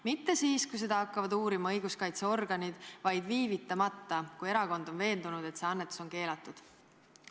Mitte siis, kui seda hakkavad uurima õiguskaitseorganid, vaid viivitamata – kui erakond on veendunud, et see annetus on keelatud.